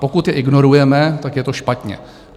Pokud je ignorujeme, tak je to špatně.